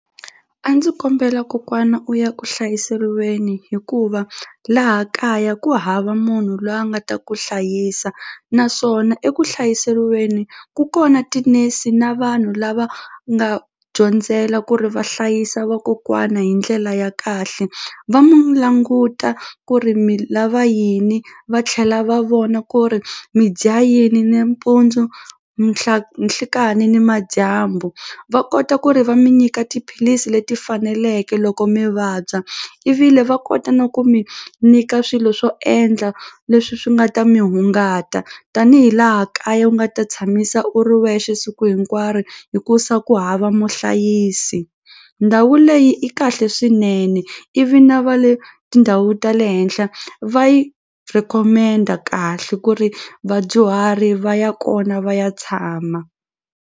A ndzi kombela kokwana u ya kuhlayiseriweni hikuva laha kaya ku hava munhu loyi a nga ta ku hlayisa naswona ekuhlayiseriweni ku kona tinese na vanhu lava nga dyondzela ku ri va hlayisa vakokwana hi ndlela ya kahle va mu languta ku ri mi lava yini va tlhela va vona ku ri mi dya yini nimpundzu nhlekani nimadyambu va kota ku ri va mi nyika tiphilisi leti faneleke loko mi vabya i vi le va kota na ku mi nyika swilo swo endla leswi swi nga ta mi hungata tanihi laha kaya u nga ta tshamisa u ri wexe siku hinkwaro hikusa ku hava muhlayisi ndhawu leyi i kahle swinene ivi na va le tindhawu ta le henhla va yi recommend-a kahle ku ri vadyuhari va ya kona va ya tshama.